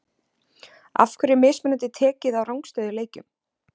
Af hverju er mismunandi tekið á rangstöðu í leikjum?